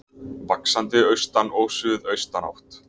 Vaxandi austan og suðaustan átt